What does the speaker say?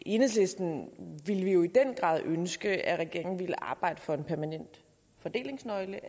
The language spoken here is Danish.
enhedslisten ville jo i den grad ønske at regeringen ville arbejde for en permanent fordelingsnøgle